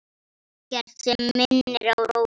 Ekkert sem minnir á Rósu.